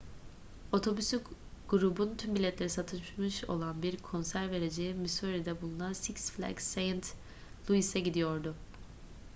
otobüs grubun tüm biletleri satılmış olan bir konser vereceği missouri'de bulunan six flags st louis'e gidiyordu